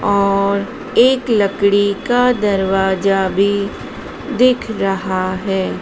और एक लकड़ी का दरवाजा भी दिख रहा है।